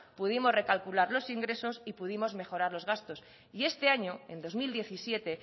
pudimos recalcular los ingresos y pudimos mejorar los gastos y este año en dos mil diecisiete